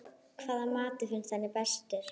Hvaða matur finnst henni bestur?